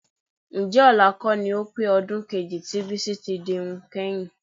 Ǹjẹ́ ọ̀la kọ́ ni ó pé ọdún kejì tí Bísí dirun kányìn?